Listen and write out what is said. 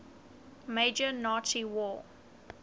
major nazi war